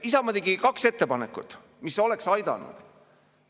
Isamaa tegi kaks ettepanekut, mis oleks aidanud.